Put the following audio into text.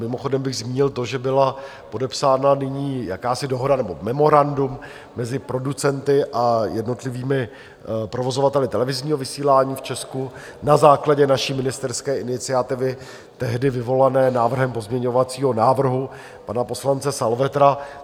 Mimochodem bych zmínil to, že byla podepsána nyní jakási dohoda nebo memorandum mezi producenty a jednotlivými provozovateli televizního vysílání v Česku na základě naší ministerské iniciativy, tehdy vyvolané návrhem pozměňovacího návrhu pana poslance Salvetra.